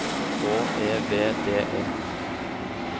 H E V D E